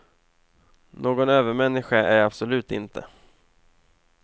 Någon övermänniska är jag absolut inte.